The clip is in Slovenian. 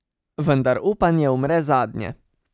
Vendar upanje umre zadnje.